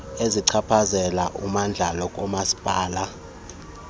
ezichaphazela ummandla kamasipala